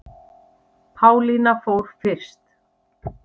Pálína fór fyrst.